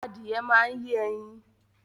Adìye máa ń yé ẹyin